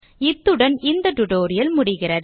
இத்துடன் இந்த டியூட்டோரியல் முடிகிறது